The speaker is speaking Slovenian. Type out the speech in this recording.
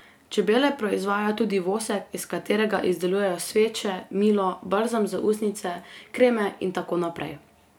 Čebele proizvajajo tudi vosek, iz katerega izdelujejo sveče, milo, balzam za ustnice, kreme in tako naprej.